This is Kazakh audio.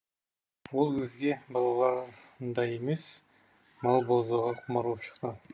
ол өзге балаларындай емес мал бауыздауға құмар боп шықты